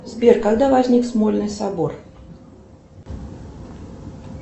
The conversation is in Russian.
сбер когда возник смольный собор